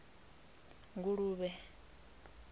nguluvhe